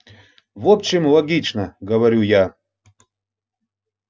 в общем логично говорю я